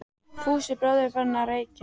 Fúsi bróðir er farinn að- reykja!